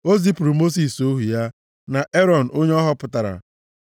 O zipụrụ Mosis, ohu ya, na Erọn, onye ọ họpụtara.